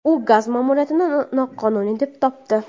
U G‘azo ma’muriyatini noqonuniy deb topdi.